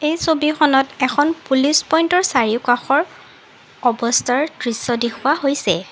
এই ছবিখনত এখন পুলিচ পইন্টৰ চাৰিওকাষৰ অৱস্থাৰ দৃশ্য দেখুওৱা হৈছে।